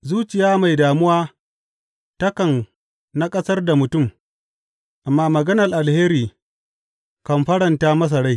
Zuciya mai damuwa takan naƙasar da mutum, amma maganar alheri kan faranta masa rai.